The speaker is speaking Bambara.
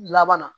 Laban na